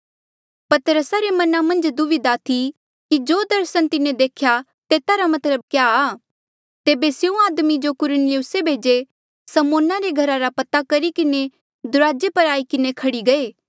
पतरसा रे मना मन्झ दुविधा थी कि जो दर्सन तिन्हें देख्या तेता रा मतलब क्या आ तेबे स्यों आदमी जो कुरनेलियुसे भेजे समौना रे घरा रा पता करी किन्हें दुराजे पर आई किन्हें खड़ी गये